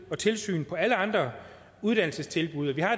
og tilsyn på alle andre uddannelsestilbud og vi har